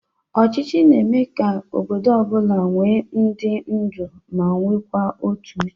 Ọchịchị na-eme ka obodo ọ bụla nwe ndị ndu ma nwekwa otu Uche.